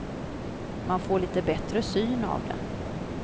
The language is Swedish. Man får lite bättre syn av det.